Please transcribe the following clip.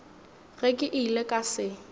ge ke ile ka se